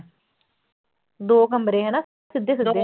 ਦੋ ਕਮਰੇ ਹਨਾ ਸਿੱਧੇ ਸਿੱਧੇ।